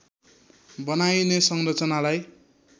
बनाइने संरचनालाई